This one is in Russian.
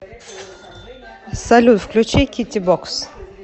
салют включи китти бокс